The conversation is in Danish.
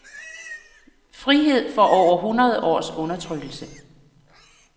Frihed fra over hundrede års undertrykkelse.